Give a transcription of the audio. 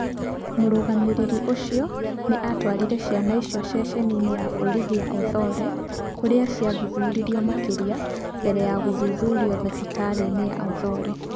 Mũrũgamĩrĩri ũcio nĩ aatwarire ciana icio ceceni-inĩ ya borithi ya Othoro kũrĩa ciathuthuririo makĩria mbere ya gũthuthurio thibitarĩ-inĩ ya Othoro.